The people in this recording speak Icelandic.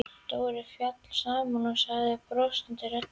Dóri féll saman og sagði brostinni röddu: